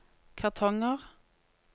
kartonger